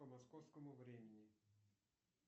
по московскому времени